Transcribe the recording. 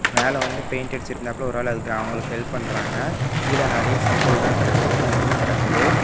மேல வந்து பெயிண்ட் அடிச்சிட்டிருந்தாப்ள ஒரு ஆளு அதுக் அவுங்களுக்கு ஹெல்ப் பண்றாங்க கீழ நெறய செங்கல்லா கடக்குது மண்ணு கடக்குது.